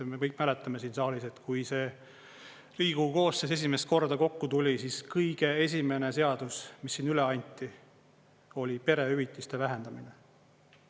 Me kõik mäletame siin saalis, et kui see Riigikogu koosseis esimest korda kokku tuli, siis kõige esimene seadus, mis siin üle anti, oli perehüvitiste vähendamine.